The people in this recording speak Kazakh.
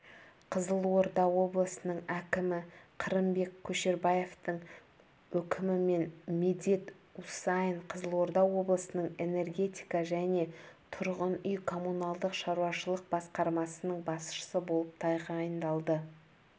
қызылорда облысының әкімі қырымбек көшербаевтың өкімімен медет усаин қызылорда облысының энергетика және тұрғын үй-коммуналдық шаруашылық басқармасының басшысы болып тағайындалды